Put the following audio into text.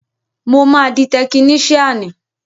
Mo máa di tekiníṣíànì